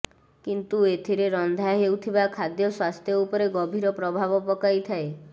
କିନ୍ତୁ ଏଥିରେ ରନ୍ଧା ହେଉଥିବା ଖାଦ୍ୟ ସ୍ୱାସ୍ଥ୍ୟ ଉପରେ ଗଭୀର ପ୍ରଭାବ ପକାଇ ଥାଏ